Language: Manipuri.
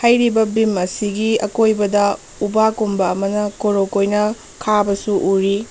ꯍꯩꯔꯤꯕ ꯕꯤꯝ ꯑꯁꯤꯒꯤ ꯑꯀꯣꯢꯕꯗ ꯎꯕꯛ ꯒꯨꯝꯕ ꯑꯃꯅ ꯀꯣꯔꯣꯛ ꯀꯣꯢꯅ ꯈꯥꯕꯁꯨ ꯎꯔꯤ꯫